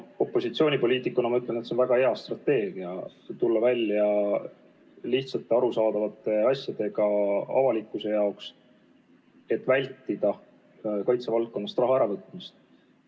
Opositsioonipoliitikuna ma ütlen, et on väga hea strateegia tulla välja lihtsate ja avalikkusele arusaadavate asjadega, et vältida kaitsevaldkonnast raha äravõtmist.